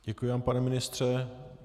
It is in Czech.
Děkuji vám, pane ministře.